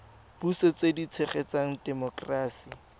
puso tse di tshegetsang temokerasi